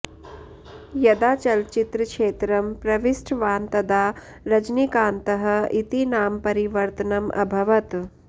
यदा चलच्चित्रक्षेत्रं प्रविष्टवान् तदा रजनीकान्तः इति नाम परिवर्तनम् अभवत्